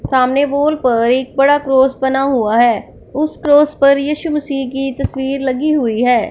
सामने वॉल पर एक बड़ा क्रोस बना हुआ है। उस क्रोस पर यीशु मसीह की तस्वीर लगी हुई है।